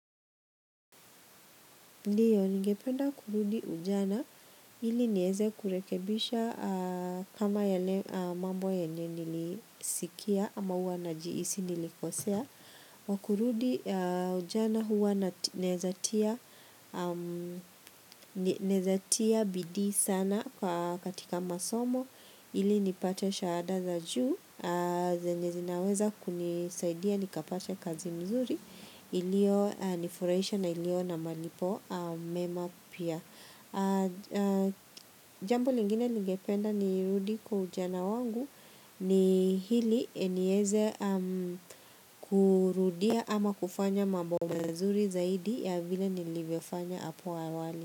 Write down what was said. Ndiyo, ngependa kurudi ujana ili nieze kurekebisha kama yale mambo yenye nilisikia ama huwa najiisi nilikosea. Kwa kurudi ujana huwa naezatia bidii sana katika masomo ili nipate shahada za juu. Zenye zinaweza kunisaidia nikapata kazi mzuri, ilio nifurahisha na ilio na malipo mema pia. Jambo lingine nigependa nirudi kwa ujana wangu ni hili enieze kurudia ama kufanya mambo mazuri zaidi ya vile nilivyofanya hapo awali.